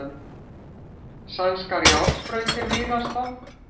Sænskar járnbrautir víða stopp